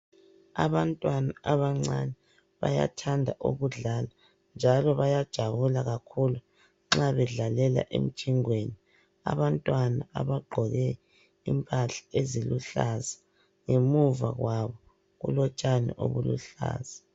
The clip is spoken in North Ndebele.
Abantwana abancane bayathanda ukudlala. Njalo bayajabula kakhulu nxa bedlalela emjingweni. Abantwana abagqoke Impahla eziluhlaza ngemuva kwabo kulotshani obuluhlaza.